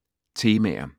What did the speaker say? Temaer